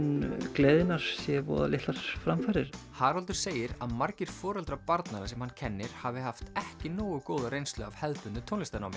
gleðinnar séu voða litlar framfarir Haraldur segir að margir foreldra barnanna sem hann kennir hafi haft ekki nógu góða reynslu af hefðbundnu tónlistarnámi